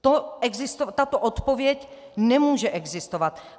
Tato odpověď nemůže existovat.